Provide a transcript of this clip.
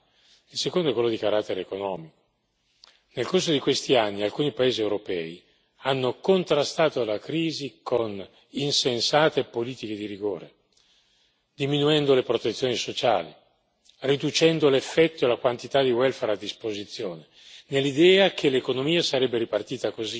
Nel corso di questi anni, alcuni paesi europei hanno contrastato la crisi con insensate politiche di rigore, diminuendo le protezioni sociali, riducendo l'effetto e la quantità di welfare a disposizione, nell'idea che l'economia sarebbe ripartita così, facendo costare di meno il costo del lavoro,